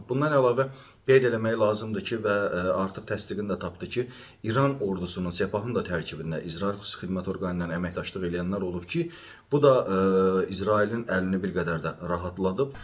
Bundan əlavə qeyd eləmək lazımdır ki, və artıq təsdiqini də tapdı ki, İran ordusunun, Sepahın da tərkibində İsrail xüsusi xidmət orqanı ilə əməkdaşlıq eləyənlər olub ki, bu da İsrailin əlini bir qədər də rahatladıb.